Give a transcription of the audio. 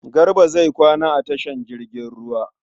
Garba zai kwana a tashar jirgin ruwa.